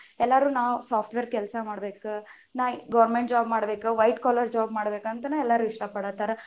ಎಲ್ಲರು ನಾವ software ಕೆಲಸ ಮಾಡ್ಬೇಕ, ನಾ government job ಮಾಡ್ಬೇಕ white collar job ಮಾಡ್ಬೇಕ, ಅಂತನೇ ಎಲ್ಲಾರು ಇಷ್ಟ ಪಡಾತಾರ.